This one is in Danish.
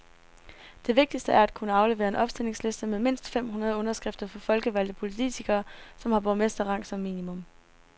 Det vigtigste er at kunne aflevere en opstillingsliste med mindst fem hundrede underskrifter fra folkevalgte politikere, som har borgmesterrang som minimum.